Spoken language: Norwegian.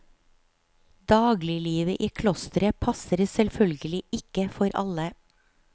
Dagliglivet i klosteret passer selvfølgelig ikke for alle.